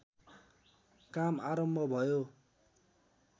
काम आरम्भ भयो